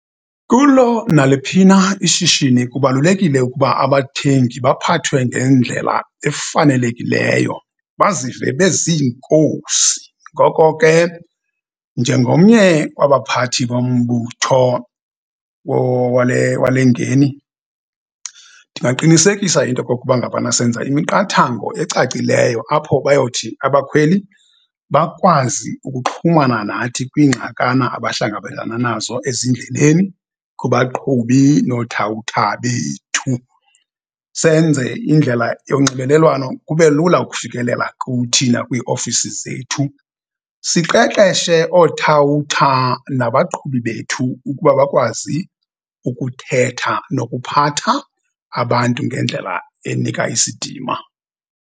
Kulo naliphi na ishishini kubalulekile ukuba abathengi baphathwe ngendlela efanelekileyo bazive beziinkosi. Ngoko ke, njengomnye wabaphathi bombutho wale ngeni ndingaqinisekisa into kokuba ngabana senza imiqathango ecacileyo apho bayothi abakhweli bakwazi ukuxhumana nathi kwingxakana abahlangabezana nazo ezindleleni kubaqhubi noothawutha bethu. Senze indlela yonxibelelwano kube lula ukufikelela kuthi nakwiiofisi zethu. Siqeqeshe othawutha nabaqhubi bethu ukuba bakwazi ukuthetha nokuphatha abantu ngendlela enika isidima.